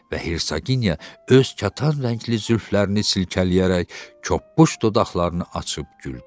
Və hersaginya öz katan rəngli zülflərini silkələyərək çöpbüş dodaqlarını açıb güldü.